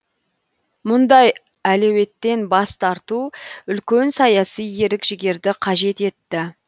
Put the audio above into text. мұндай әлеуеттен бас тарту үлкен саяси ерік жігерді қажет етті